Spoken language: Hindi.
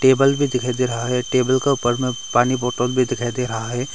टेबल भी दिखाई दे रहा है टेबल का ऊपर में पानी बोटल भी दिखाई दे रहा है।